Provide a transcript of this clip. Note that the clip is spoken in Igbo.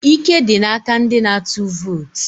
Ike dị n'aka ndị na-atụ vootu.